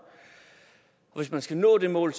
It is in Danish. hvis man skal nå det mål